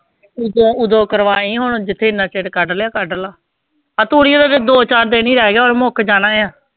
ਉਦੋਂ ਉਦੋਂ ਕਰਵਾਈ ਹੁਣ ਜਿੱਥੇ ਇੰਨਾ ਚਿਰ ਕੱਢ ਲਿਆ ਕੱਢ ਲਾ, ਆਹ ਤੂੜੀਆਂ ਦਾ ਤੇ ਦੋ ਚਾਰ ਦਿਨ ਹੀ ਰਹਿ ਗਿਆ, ਹੁਣ ਮੁੱਕ ਜਾਣਾ ਹੈ।